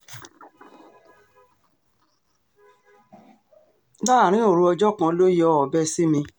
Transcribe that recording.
láàrín òru ọjọ́ kan ló yọ ọbẹ̀ sí mi